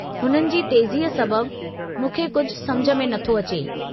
हुननि जी तेज़ीअ सबब, मूंखे कुझु सम्झ में नथो अचे।